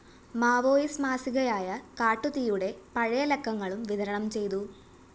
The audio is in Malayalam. മാവോയിസ്റ്റ് മാസികയായ കാട്ടുതീയുടെ പഴയ ലക്കങ്ങളും വിതരണം ചെയ്തു